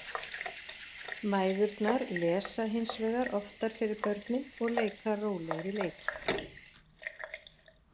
Mæðurnar lesa hins vegar oftar fyrir börnin og leika rólegri leiki.